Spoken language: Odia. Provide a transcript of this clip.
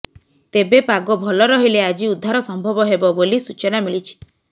ତେବେ ପାଗ ଭଲ ରହିଲେ ଆଜି ଉଦ୍ଧାର ସମ୍ଭବ ହେବ ବୋଲି ସୂଚନା ମିଳିଛି